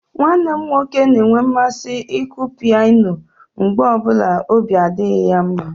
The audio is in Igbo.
Nwanne m nwoke na-enwe mmasị ịkụ pianọ mgbe ọ bụla ọbi adịghị ya mma.